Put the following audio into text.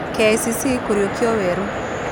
KCC kuriũkio weerũ